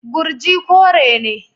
Gurji kore ne.